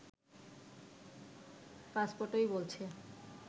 পাসপোর্টই বলছে